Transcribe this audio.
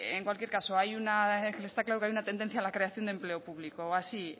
en cualquier caso está claro que hay una tendencia a la creación de empleo público o así